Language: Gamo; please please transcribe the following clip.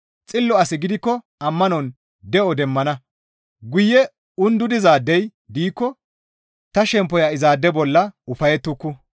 xillo asi gidikko ammanon de7o demmana; guye undudizaadey diikko ta shemppoya izaade bolla ufayettuku.